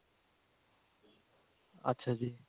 ਅੱਛਾ